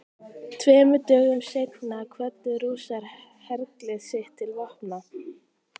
Tveimur dögum seinna kvöddu Rússar herlið sitt til vopna.